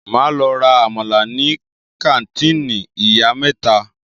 Máa lọ ra àmàlà ní kàńtìnì ìyá mẹ́ta.